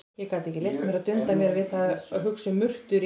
Ég gat ekki leyft mér að dunda mér við að hugsa um murtur í